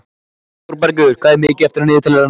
Þórbergur, hvað er mikið eftir af niðurteljaranum?